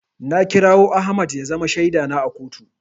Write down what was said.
Na kirawo Ahmad ya zama shaida na a kotu.